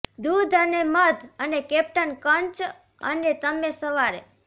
દૂધ અને મધ અને કેપ્ટન કર્ન્ચ અને તમે સવારે